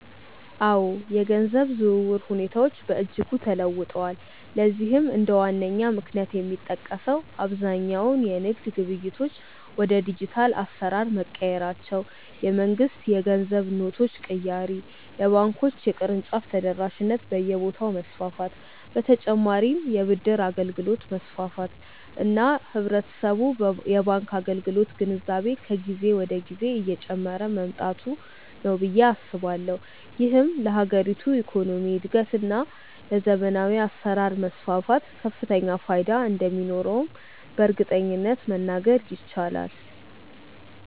አዎ፣ የገንዘብ ዝውውር ሁኔታዎች በእጅጉ ተለውጠዋል። ለዚህም እንደ ዋነኛ ምክንያት የሚጠቀሰው አብዛኛው የንግድ ግብይቶች ወደ ዲጂታል አሰራር መቀየራቸው፣ የመንግስት የገንዘብ ኖቶች ቅያሬ፣ የባንኮች የቅርንጫፍ ተደራሽነት በየቦታው መስፋፋት በ ተጨማርም የ ብድር አገልግሎት መስፋፋት እና የህብረተሰቡ የባንክ አገልግሎት ግንዛቤ ከጊዜ ወደ ጊዜ እየጨመረ መምጣቱ ነው ብዬ አስባለሁ። ይህም ለሀገሪቱ የኢኮኖሚ እድገት እና ለዘመናዊ አሰራር መስፋፋት ከፍተኛ ፋይዳ እንደሚኖረውም በእርግጠኝነት መናገር ይቻላል።